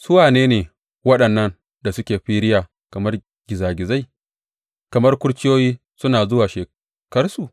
Su wane ne waɗannan da suke firiya kamar gizagizai, kamar kurciyoyi suna zuwa sheƙarsu?